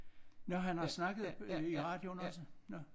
Nåh han har snakket i radioen også? Nåh